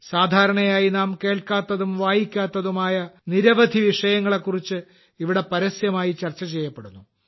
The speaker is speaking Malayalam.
സാധാരണയായി നാം കേൾക്കാത്തതും വായിക്കാത്തതുമായ നിരവധി വിഷയങ്ങളെ കുറിച്ച് ഇവിടെ പരസ്യമായി ചർച്ച ചെയ്യപ്പെടുന്നു